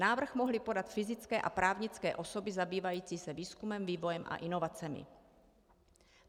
Návrh mohly podat fyzické a právnické osoby zabývající se výzkumem, vývojem a inovacemi.